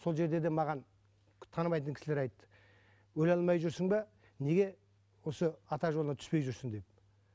сол жерде де маған танымайтын кісілер айтты өле алмай жүрсің бе неге осы ата жолыңа түспей жүрсің деді